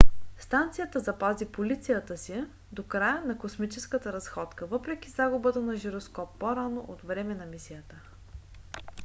станцията запази позицията си до края на космическата разходка въпреки загубата на жироскоп по-рано по време на мисията